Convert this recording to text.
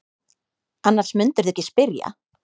Annars mundirðu ekki spyrja.